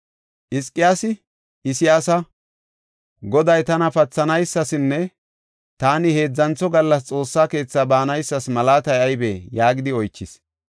Hizqiyaasi Isayaasa, “Goday tana pathanaysanne taani heedzantho gallas Xoossa keetha baanaysas malaatay aybee?” yaagidi oychis.